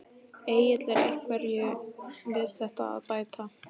Egill er einhverju við þetta að bæta?